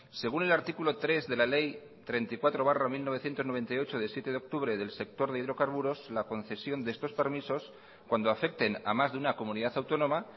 según el artículo tres de la ley treinta y cuatro barra mil novecientos noventa y ocho de siete de octubre del sector de hidrocarburos la concesión de estos permisos cuando afecten a más de una comunidad autónoma